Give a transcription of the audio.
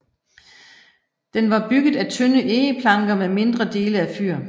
Den var bygget af tynde egeplanker med mindre dele af fyr